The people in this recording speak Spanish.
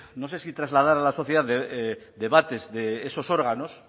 no sé si trasladar a la sociedad debates de esos órganos